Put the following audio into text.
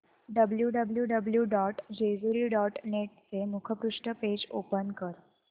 W W W dot Jejuri dot net चे मुखपृष्ठ page open कर